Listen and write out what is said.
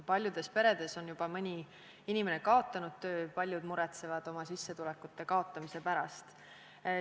Paljudes peredes on mõni inimene juba kaotanud töö, paljud muretsevad oma sissetulekute kaotamise pärast.